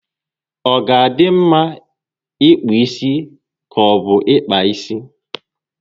Ọ ga adị m mma ịkpụ isi ka obu ịkpa isi?